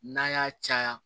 N'a y'a caya